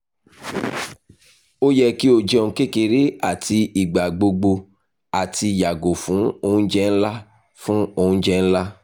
o yẹ ki o jẹun kekere ati igbagbogbo ati yago fun ounjẹ nla fun ounjẹ nla